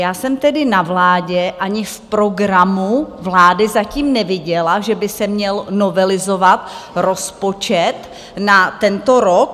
Já jsem tedy na vládě ani v programu vlády zatím neviděla, že by se měl novelizovat rozpočet na tento rok.